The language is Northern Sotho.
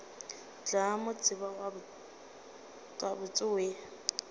tla mo tseba gabotse we